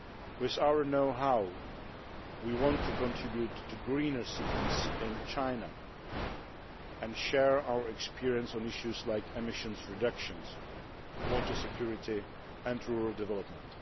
With our know how, we want to contribute to greener cities in China and share our experience on issues like emissions reduction, water security and rural development.